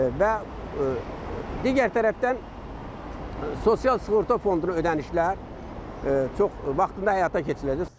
Və digər tərəfdən sosial sığorta fonduna ödənişlər çox vaxtında həyata keçiriləcək.